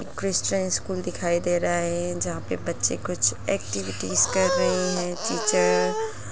Christian school दिखाई दे रहा है जहाँ पे बच्चे कुछ एक्विटी कर रहे हैं टीचर --